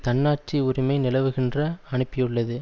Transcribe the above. தன்னாட்சி உரிமை நிலவுகின்ற அனுப்பியுள்ளது